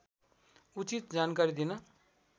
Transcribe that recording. उचित जानकारी दिन